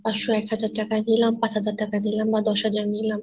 পাচ'শ একহাজার টাকা নিলাম না দশ'হাজার টাকা নিলাম